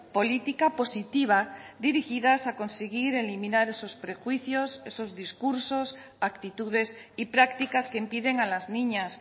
política positiva dirigidas a conseguir eliminar esos prejuicios esos discursos actitudes y prácticas que impiden a las niñas